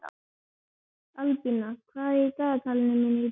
Albína, hvað er í dagatalinu í dag?